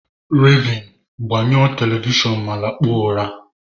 Raven, gbanyụọ Television ma lakpuo ụra!